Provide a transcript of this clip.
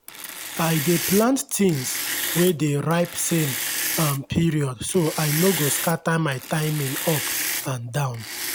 i dey plant things wey dey ripe same um period so i no go scatter my timing up and down.